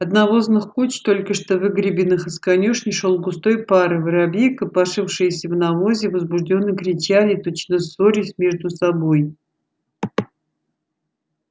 от навозных куч только что выгребенных из конюшни шёл густой пар и воробьи копошившиеся в навозе возбуждённо кричали точно ссорясь между собой